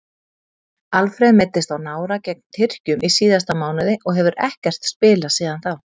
Alfreð meiddist á nára gegn Tyrkjum í síðasta mánuði og hefur ekkert spilað síðan þá.